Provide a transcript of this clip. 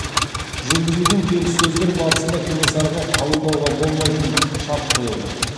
жүргізілген келіссөздер барысында кенесарыға қабылдауға болмайтын шарт қойылды